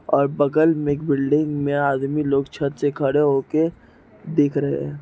और बगल में एक बिल्डिंग में आदमी लोग छत से खड़े हो के ] देख रहे है।